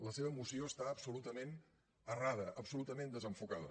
la seva moció està absolutament errada absolutament desenfocada